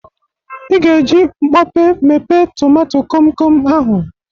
Ị ga-eji mkpọpe mepe tomato komkom ahụ.